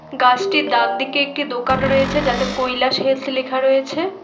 গাছটির ডানদিকে একটি দোকান রয়েছে যাতে কৈলাস হেলথ লেখা রয়েছে।